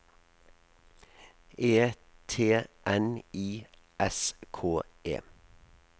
E T N I S K E